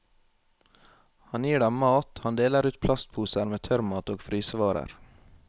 Han gir dem mat, han deler ut plastposer med tørrmat og frysevarer.